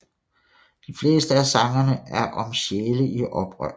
De fleste af sangene er om sjæle i oprør